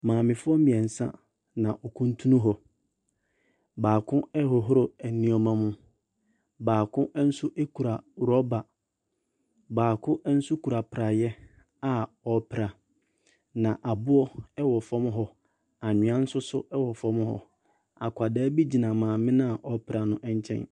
Maamefoɔ mmiɛnsa na wokuntun hɔ. Baako ɛworow ɛnneɛma mu. Baako nso ekura rɔba. Baako nso kura prae a ɔpra. Na aboɔ ɛwɔ fam hɔ. Anwia nso so ɛwɔ fam hɔ. Akɔda bi gyina maame na ɔpra no ɛnkyɛn.